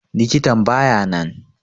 Likitan baya nan.